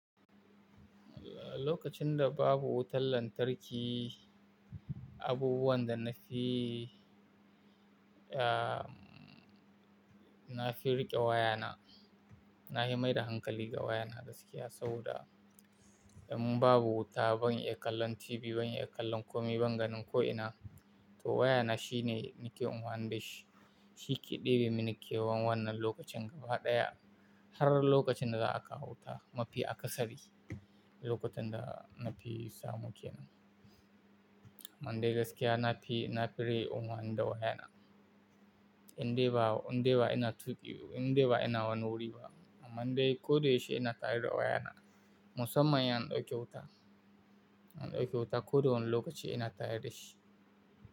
Lokacin da babu wutar lantarki, abubuwan da na fi, ah, na fi riƙe wayana. Na fi mai da hankali ga wayana gaskiya saboda in babu wuta ban iya kallon TV, ban iya kallon kome, ban ganin ko'ina, to wayana shine nake amfanin da shi. Shi ke ɗebi mini kewan wannan lokacin gaba ɗaya har lokacin da za a kawo wuta. Mafi aka sari lokutan da na fi samu ke nan. Mandai gaskiya na fi, na fi riƙe unwan da wayana. Indai ba, indai ba ina tuƙi, indai ba ina wani wuri ba. Mandai koɗi yaushe ina tare da wayana musamman in an ɗauke wuta. An ɗauke wuta koɗa wani lokaci ina tare da shi.